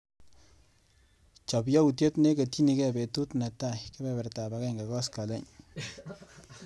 Chap yautyet neketyinike betut netai kebebertap agenge koskoliny.